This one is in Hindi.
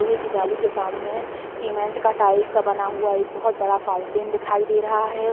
लोहे की जाली के सामने सीमेंट का टाइल्स का बना हुआ एक बहोत बड़ा फाउंटेन दिखाई दे रहा है।